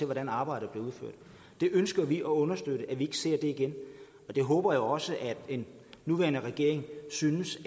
hvordan arbejdet bliver udført det ønsker vi at understøtte at vi ikke ser igen og det håber jeg også at den nuværende regering synes